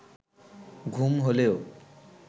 ঘুম হইলেও